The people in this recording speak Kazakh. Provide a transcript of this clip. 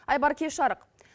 айбар кеш жарық